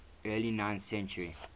early ninth century